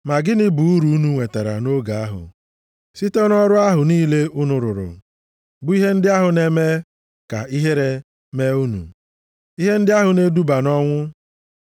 Ma gịnị bụ uru unu nwetara nʼoge ahụ site nʼọrụ ahụ niile unu rụrụ, bụ ihe ndị ahụ na-eme ka ihere mee unu? Ihe ndị ahụ na-eduba nʼọnwụ.